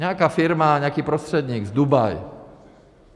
Nějaká firma, nějaký prostředník z Dubaje.